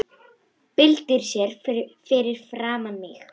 Byltir sér fyrir framan mig.